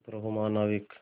चुप रहो महानाविक